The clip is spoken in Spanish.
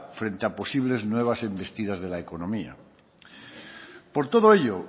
frente a posibles nuevas embestidas de la economía por todo ello